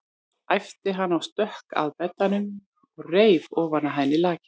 æpti hann og stökk að beddanum og reif ofan af henni lakið.